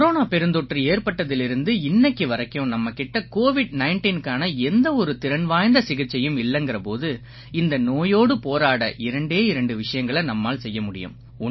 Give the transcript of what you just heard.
corona பெருந்தொற்று ஏற்பட்டதிலிருந்து இன்னைக்கு வரைக்கும் நம்ம கிட்ட கோவிட் 19க்கான எந்த ஒரு திறன் வாய்ந்த சிகிச்சையும் இல்லைங்கற போது இந்த நோயோடு போராட இரண்டே இரண்டு விஷயங்களை நம்மால் செய்ய முடியும்